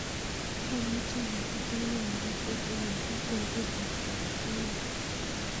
Amuchi aititano universal olin bo Florida kong'eten yu